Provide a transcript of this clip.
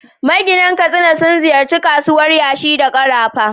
Maginan Katsina sun ziyarci kasuwar yashi da karafa.